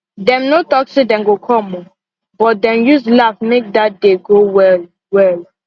dem no talk say dem go come o but dem use laugh make dat day go well well